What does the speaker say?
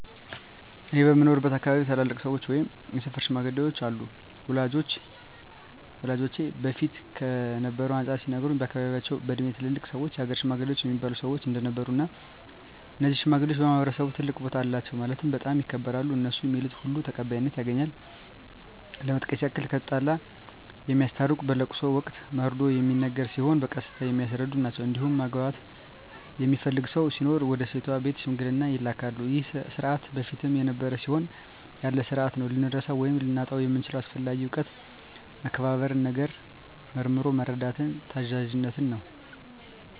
እኔ በምኖርበት አካባቢ ታላላቅ ሰዎች ወይም የሰፈር ሽማግሌዎች አሉ ወላጆቼ በፊት ከነበረው አንፃር ሲነግሩኝ በአካባቢያቸው በእድሜ ትላልቅ ሰዎች የሀገር ሽማግሌ እሚባሉ ሰዎች እንደነበሩ እና እነዚህ ሽማግሌዎች በማህበረሰቡ ትልቅ ቦታ አላቸው ማለትም በጣም ይከበራሉ እነሡ ሚሉት ሁሉ ተቀባይነት ያገኛል ለመጥቀስ ያክል የተጣላ የሚያስታርቁ በለቅሶ ወቅት መርዶ ሚነገር ሲሆን በቀስታ የሚያስረዱ ናቸዉ እንዲሁም ማግባት የሚፈልግ ሰው ሲኖር ወደ ሴቷ ቤተሰብ ሽምግልና ይላካሉ ይህ ስርዓት በፊትም ነበረ አሁንም ያለ ስርአት ነው። ልንረሳው ወይም ልናጣው የምንችለው አስፈላጊ እውቀት መከባበርን፣ ነገርን መርምሮ መረዳትን፣ ታዛዝነትን ነው።